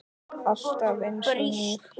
Alltaf einsog nýr.